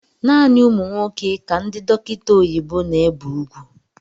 Naanị ụmụ nwoke ka ndị dọkịta oyibo na-ébé úgwú